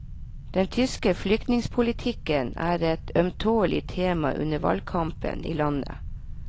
Den tyske flyktningepolitikken er et ømtålelig tema under valgkampen i landet.